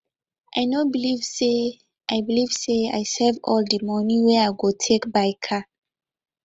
i no believe say i believe say i save all the money wey i go take buy car